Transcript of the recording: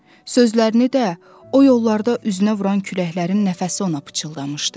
Sözlərini də o yollarda üzünə vuran küləklərin nəfəsi ona pıçıldamışdı.